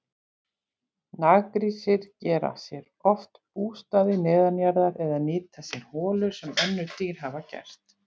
Naggrísir gera sér oft bústaði neðanjarðar eða nýta sér holur sem önnur dýr hafa gert.